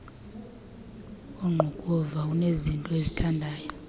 ongqukuva unezinto azithandayo